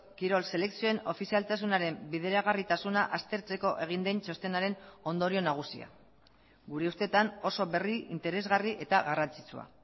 kirol selekzioen ofizialtasunaren bideragarritasuna aztertzeko egin den txostenaren ondorio nagusia gure ustetan oso berri interesgarri eta garrantzitsua